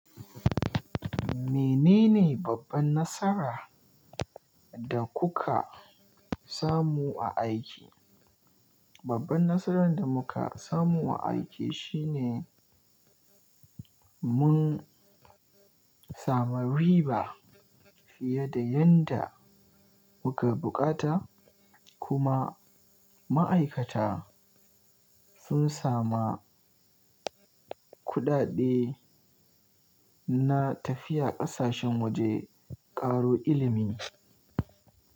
Menene babban nasara da kuka samu a aiki? Babban nasaran da muka samu a aiki shine mun samu riba fiye da yanda muka bukata kuma ma'aikata sun sama kuɗaɗe na tafiya ƙasashen waje ƙaro ilimi.